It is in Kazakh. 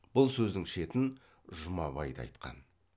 бұл сөздің шетін жұмабай да айтқан